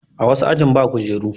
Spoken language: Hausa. A wasu ajin ba kujeru.